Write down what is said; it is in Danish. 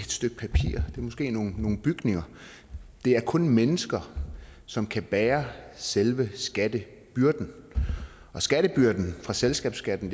måske nogle bygninger og det er kun mennesker som kan bære selve skattebyrden og skattebyrden fra selskabsskatten